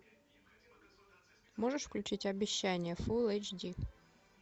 можешь включить обещание фулл эйч ди